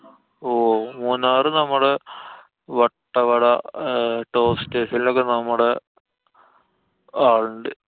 ഓ മൂന്നാറ് നമ്മടെ Vattavada, toast hill ഒക്കെ നമ്മടെ ആളുണ്ട്.